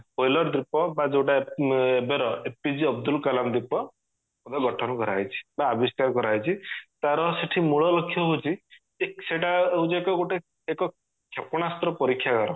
wheeler ଦ୍ଵିପ ବା ଯୋଉଟା ଏବେର APJ ଅବଦୁଲକଲାମ ଦ୍ଵିପ ଭାବେ ଗଠନ କରାଯାଇଛି ବା ଆବିଷ୍କାର କରାଯାଇଛି ତାର ସେଠି ମୂଳ ଲକ୍ଷ ହେଉଚି ଯେ ସେଟା ହେଉଚି ଏକ ଗୋଟେ ଏକ କ୍ଷ୍ଯେପଣାସ୍ତ୍ର ପରୀକ୍ଷା ଗାର